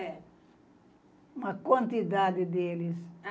É. Uma quantidade deles.